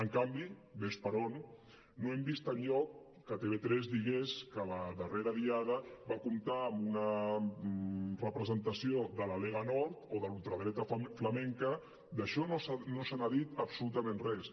en canvi ves per on no hem vist enlloc que tv3 digués que la darrera diada va comptar amb una representació de la lega nord o de la ultradreta flamenca d’això no se n’ha dit absolutament res